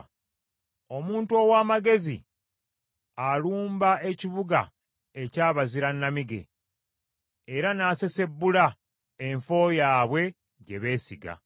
Omuntu ow’amagezi alumba ekibuga eky’abazira nnamige, era n’asesebbula enfo yaabwe gye beesiga.